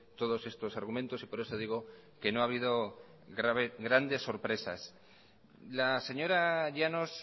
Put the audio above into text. todos estos argumentos y por eso digo que no ha habido grandes sorpresas la señora llanos